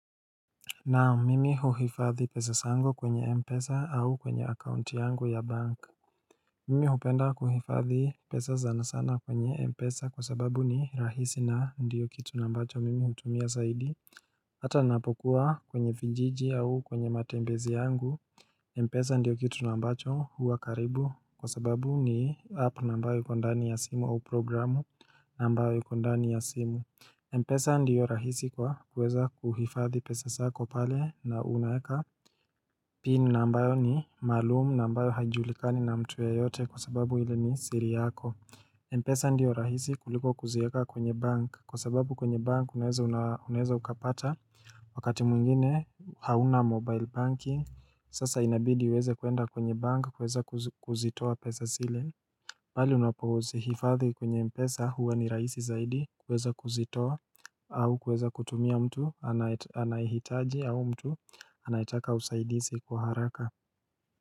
Nao mimi huhifadhi pesa zangu kwenye Mpesa au kwenye akaunti yangu ya bank Mimi hupenda kuhifadhi pesa zana sana kwenye Mpesa kwa sababu ni rahisi na ndiyo kitu na ambacho mimi hutumia saidi Hata napokuwa kwenye vijiji au kwenye matembezi yangu Mpesa ndiyo kitu na ambacho huwa karibu kwa sababu ni app na ambayo iko ndani ya simu au programu nambayo yuko ndani ya simu Mpesa ndiyo rahisi kwa kuweza kuhifadhi pesa sako pale na unaeka pin na ambayo ni maalumu na ambayo haijulikani na mtu yeyote kwa sababu ile ni siri yako Mpesa ndiyo rahisi kuliko kuzieka kwenye bank kwa sababu kwenye bank unaeza unaeza ukapata Wakati mwingine hauna mobile banking sasa inabidi uweze kuenda kwenye bank kuweza kuzitoa pesa sile bali unapozihifadhi kwenye mpesa huwa ni raisi zaidi kuweza kuzitoa au kuweza kutumia mtu anayehitaji au mtu anayetaka usaidizi kwa haraka.